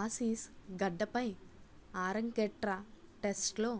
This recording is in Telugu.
ఆసీస్ గడ్డపై ఆరంగేట్ర టెస్టులో